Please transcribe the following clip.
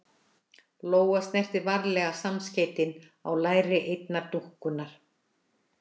Lóa snerti varlega samskeytin á læri einnar dúkkunnar.